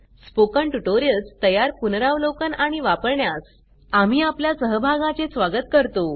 spoken tutorials तयार पुनरावलोकन आणि वापरण्यास आम्ही आपल्या सहभागाचे स्वागत करतो